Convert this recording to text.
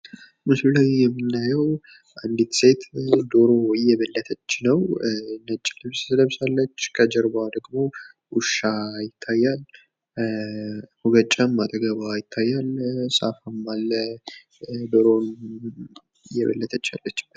ምስሉ ላይ የምንመለከተው አንዲት ሴት ዶሮ እየበለተች ነው ።ነጭ ልብስ ለብሳለች፣ ከጀርባዋ ደግሞ ውሻ ይታየኛል። ሙገጫም ይታያል፣ ሳፋም አለ። ዶሮ እየበለተች ነው ።